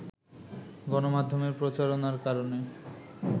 গণমাধ্যমে প্রচারণার কারণে